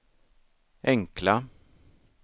enkla